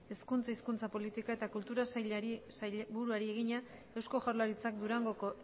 hezkuntza hizkuntza politika eta kultura sailburuari egina eusko jaurlaritzak durangoko